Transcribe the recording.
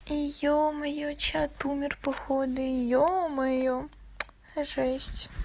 ё-моё чат умер походу ё-моё жесть